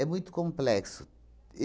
muito complexo.